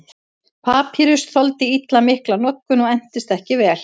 Papýrus þoldi illa mikla notkun og entist ekki vel.